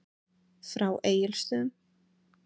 Frá Egilsstöðum.